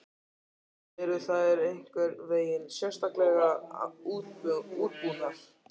Lára: Og eru þær einhvern veginn sérstaklega útbúnar?